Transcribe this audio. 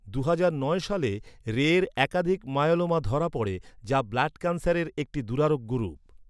দুহাজার নয় সালে রে এর একাধিক মায়োলোমা ধরা পড়ে, যা ব্লাড ক্যান্সারের একটি দুরারোগ্য রূপ।